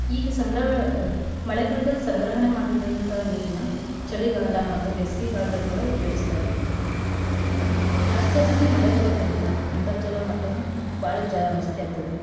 ಈಗ ಸಂಗ್ರ~ ಮಳೆಗಾಲ್ದಾಗ್ ಸಂಗ್ರಹಣೆ ಮಾಡಿದಂತಾ ನೀರ್ನಾ ಚಳಿಗಾಲ ಮತ್ತ ಬೇಸ್ಗೇಗಾಲ್ದಗ್ ಕೂಡ ಉಪಯೋಗ್ಸ್ತಾರ್ರಿ. ಆ ಜಾಸ್ಜಾಸ್ತಿ ಮಳೆ ಬರೋದ್ರಿಂದ ಅಂತರ್ಜಲ ಮಟ್ಟನೂ ಬಾಳ ಜಾಸ್ತಿ ಆಗ್ತೇತ್ರಿ.